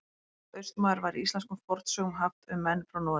Orðið Austmaður var í íslenskum fornsögum haft um menn frá Noregi.